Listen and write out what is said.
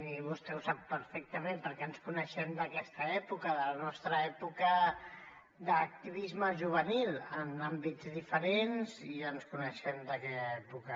i vostè ho sap perfectament perquè ens coneixem d’aquesta època de la nostra època d’activisme juvenil en àmbits diferents i ens coneixem d’aquella època